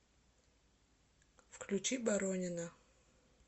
включи боронина